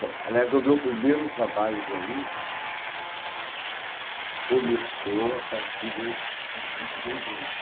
Bom, aliás, o meu primeiro trabalho realmente começou a partir dos vinte e dois anos.